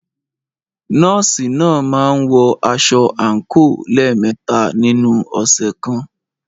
Nọ́ọ̀sì náà máa ń wọ aṣọ àǹkóò lẹ́ẹ̀mẹta nínu ọ̀sẹ̀ kan.